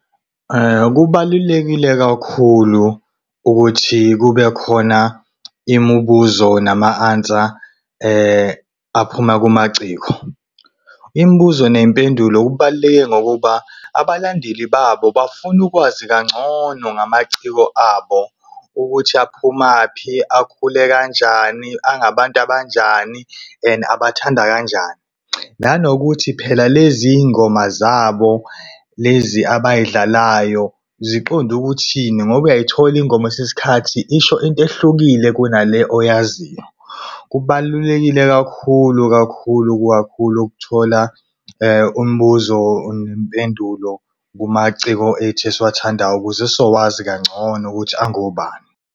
Kubalulekile kakhulu ukuthi kubekhona imibuzo nama-answer aphuma kumaciko. Imibuzo ney'mpendulo kubalulekile ngokuba abalandeli babo bafuna ukwazi kangcono ngamaciko abo ukuthi aphumaphi, akhule kanjani, angabantu abanjani and abathanda kanjani. Nanokuthi phela lezi y'ngoma zabo lezi abay'dlalayo ziqonde ukuthini ngoba uyayithola ingoma kwesinye isikhathi isho into ehlukile kunale oyaziyo. Kubalulekile kakhulu kakhulu kakhulu ukuthola, umbuzo nempendulo kumaciko ethu esiwathandayo ukuze sizowazi kangcono ukuthi angobani.